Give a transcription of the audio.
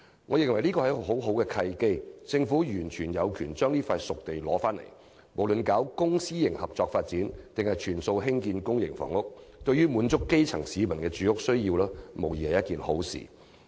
我認為這是一個很好的契機，政府完全有權取回這片熟地，無論是作公私營合作發展或全數用作興建公營房屋，對滿足基層市民住屋需要均無疑是一件好事。